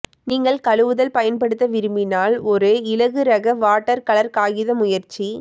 நீங்கள் கழுவுதல் பயன்படுத்த விரும்பினால் ஒரு இலகுரக வாட்டர்கலர் காகித முயற்சி